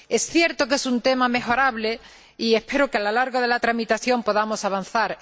Es cierto que es un tema mejorable y espero que, a lo largo de la tramitación, podamos avanzar.